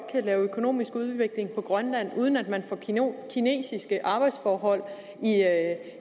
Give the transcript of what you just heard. kan lave økonomisk udvikling i grønland uden at man får kinesiske arbejdsforhold